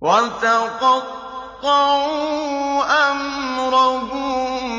وَتَقَطَّعُوا أَمْرَهُم